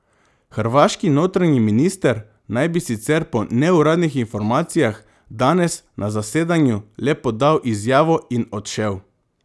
Hrvaški notranji minister naj bi sicer po neuradnih informacijah danes na zasedanju le podal izjavo in odšel.